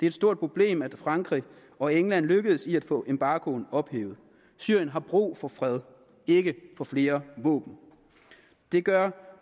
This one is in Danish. et stort problem at frankrig og england lykkedes med at få embargoen ophævet syrien har brug for fred ikke for flere våben det gør